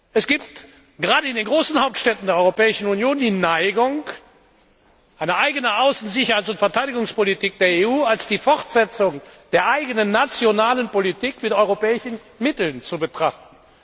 Es gibt gerade in den großen Hauptstädten der Europäischen Union die Neigung, die Außen Sicherheits und Verteidigungspolitik der EU als Fortsetzung der eigenen nationalen Politik mit europäischen Mitteln zu betrachten.